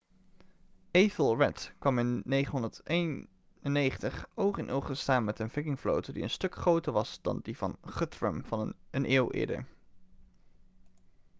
ethelred kwam in 991 oog in oog te staan met een vikingvloot die een stuk groter was dan die van guthrum een eeuw eerder